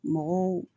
Mɔgɔw